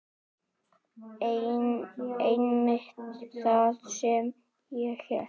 Einmitt það sem ég hélt.